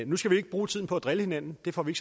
nu skal vi ikke bruge tiden på at drille hinanden det får vi